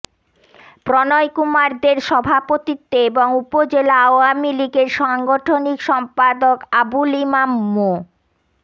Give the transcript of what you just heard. প্রণয় কুমার দের সভাপতিত্বে এবং উপজেলা আওয়ামী লীগের সাংগঠনিক সম্পাদক আবুল ইমাম মো